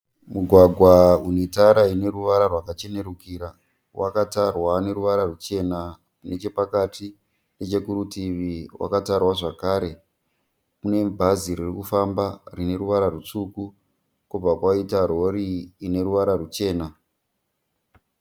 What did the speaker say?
Mugwagwa unetara ine ruvara rwachenurikira. Wakatarwa neruvara ruchena nechepakati. Nechekurutivi wakatarwa zvekare. Kune bhazi ririkufamba rine ruvara rwutsvuku, kobva kwaita rori ineruvara rwuchena.